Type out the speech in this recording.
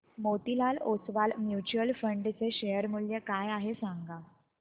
Motilal Oswal mutual fund चे share मूल्य काय आहे सांगा